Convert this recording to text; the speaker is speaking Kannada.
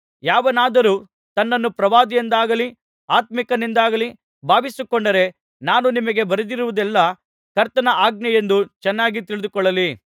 ಯಾವನಾದರೂ ತನ್ನನ್ನು ಪ್ರವಾದಿಯೆಂದಾಗಲಿ ಆತ್ಮೀಕನೆಂದಾಗಲಿ ಭಾವಿಸಿಕೊಂಡರೆ ನಾನು ನಿಮಗೆ ಬರೆದಿರುವುದೆಲ್ಲಾ ಕರ್ತನ ಆಜ್ಞೆ ಎಂದು ಚೆನ್ನಾಗಿ ತಿಳಿದುಕೊಳ್ಳಲಿ